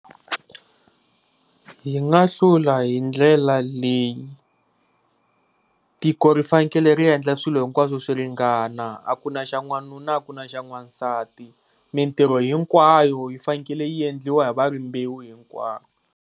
Hi nga hlula hi ndlela leyi tiko ri fanekele ku endla swilo hinkwaswo swi ringana, a ku na xa n'wanuna a ku na xa n'wansati mintirho hinkwayo yi fanekele yi endliwa hi va rimbewu hinkwaro.